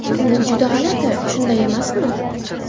Bu juda g‘alati, shunday emasmi?